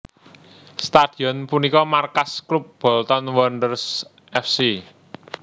Stadion punika markas klub Bolton Wanderers F C